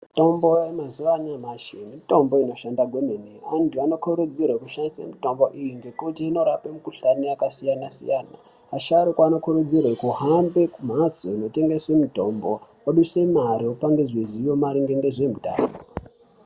Mitombo yemazuwa anyamashi mitombo inoshanda kwemene, antu anokurudzirwe kushandise mitombo iyi ngekuti inorape mikhuhlani yakasiyana-siyana. Asharukwa anokurudzirwe kuhambe kumhatso inotengeswe mitombo oduse mare opangidzwe zivo maringe ngezveutano.